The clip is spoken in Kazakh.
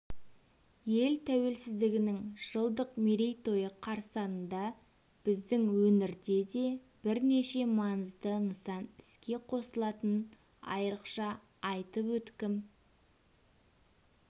ел тәуелсіздігінің жылдық мерейтойы қарсаңында біздің өңірде де бірнеше маңызды нысан іске қосылатынын айрықша айтып өткім